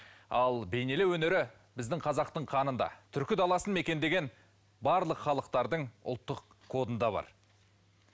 ал бейнелеу өнері біздің қазақтың қанында түркі даласын мекендеген барлық халықтардың ұлттық кодында бар